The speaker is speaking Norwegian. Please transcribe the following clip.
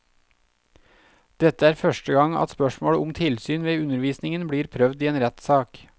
Dette er første gang at spørsmål om tilsyn ved undervisningen blir prøvd i en rettssak.